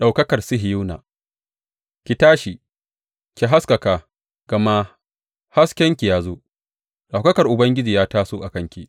Ɗaukakar Sihiyona Ki tashi, ki haskaka, gama haskenki ya zo, ɗaukakar Ubangiji ya taso a kanki.